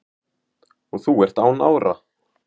og þú ert án ára